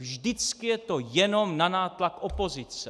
Vždycky je to jenom na nátlak opozice.